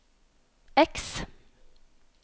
X